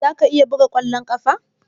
Za ka iya buga kwallon kafa?